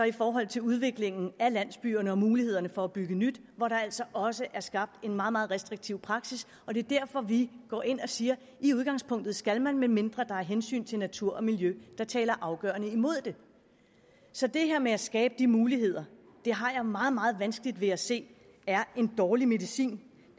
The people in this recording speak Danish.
i forhold til udviklingen af landsbyerne og mulighederne for at bygge nyt hvor der altså også er skabt en meget meget restriktiv praksis og det er derfor vi går ind og siger i udgangspunktet skal man medmindre der er hensyn til natur og miljø der taler afgørende imod det så det her med at skabe de muligheder har jeg meget meget vanskeligt ved at se er en dårlig medicin